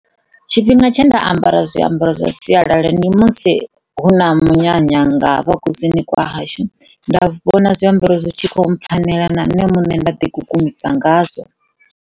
Tshifhinga tshe nda ambara zwiambaro zwa sialala ndi tshifhinga tsha musi hu na munyanya nga hafha kusini kwa hashu nda vhona zwiambaro zwi kho mpfhanela na nne nda ḓi kukumusa ngazwo.